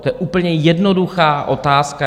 To je úplně jednoduchá otázka.